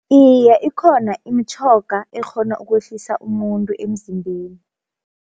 Iye ikhona imitjhoga ekghona ukwehlisa umuntu emzimbeni.